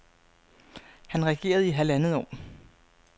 Han regerede i halvandet år.